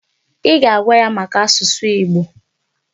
Ị ga-agwa ya maka asụsụ Igbo!